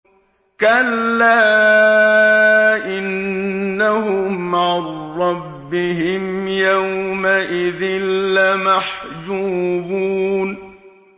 كَلَّا إِنَّهُمْ عَن رَّبِّهِمْ يَوْمَئِذٍ لَّمَحْجُوبُونَ